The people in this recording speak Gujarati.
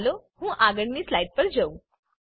ચાલો હું આગળની સ્લાઈડ પર જઉં